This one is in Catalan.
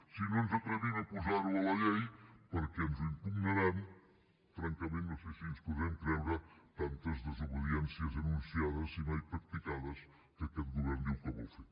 si no ens atrevim a posar ho a la llei perquè ens ho impugnaran francament no sé si ens podrem creure tantes desobediències anunciades i mai practicades que aquest govern diu que vol fer